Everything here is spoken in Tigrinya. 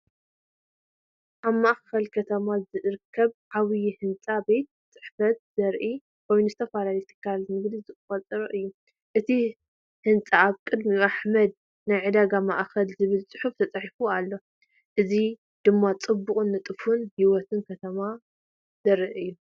ኣብ ማእከል ከተማ ዝርከብ ዓቢይ ህንጻ ቤት ጽሕፈት ዘርኢ ኮይኑ ዝተፈላለዩ ትካላት ንግዲ ዝሓቖፈ እዩ። እቲ ህንጻ ኣብ ቅድሚኡ “ኣሕመድ ናይ ዕዳጋ ማእከል” ዝብል ጽሑፍ ተጻሒፉ ኣሎ። እዚ ድማ ጽቡቕን ንጡፍን ህይወት ከተማ ዘርኢ እዩ።